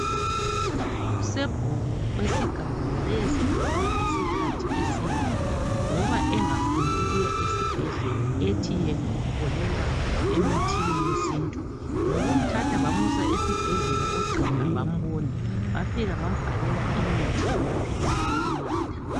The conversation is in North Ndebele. Usebhuku wesigaba wayesegule isikhathi eside ngoba engafuni ukuya esibhedlela ethi yena ukholelwa emithini yesintu. Ngokumthatha bamusa esibhedlela ogqiha bambona, bafika bambhalela imithi lamaphilisi okunatha.